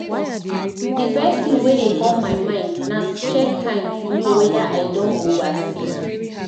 Di first thing wey dey come my mind na to check time to know weda I don over sleep